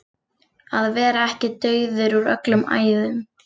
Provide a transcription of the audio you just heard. Að vera ekki dauður úr öllum æðum